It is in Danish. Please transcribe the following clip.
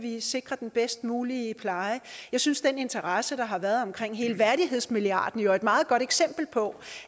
sikre den bedst mulige pleje jeg synes at den interesse der har været omkring hele værdighedsmilliarden jo er et meget godt eksempel på